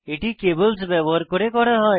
এটি কেব্ল্স ব্যবহার করে করা হয়